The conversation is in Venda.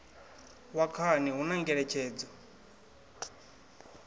wa khani hu na ngeletshedzo